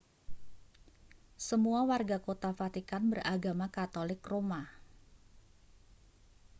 semua warga kota vatikan beragama katolik roma